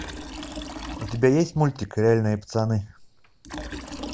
у тебя есть мультик реальные пацаны